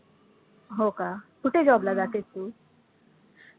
हो का, कुठे job ला जातेस तु?